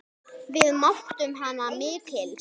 Við mátum hana mikils.